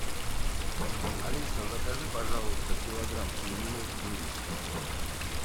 алиса закажи пожалуйста килограмм свинины вырезка